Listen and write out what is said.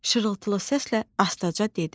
Şırıltılı səslə astaca dedi: